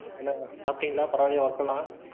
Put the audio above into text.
எல்லாரும் சாப்பிட்டீங்களா? பரவாயில்லையா work எல்லாம்